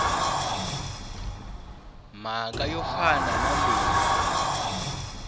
mhaka yo fana na leyi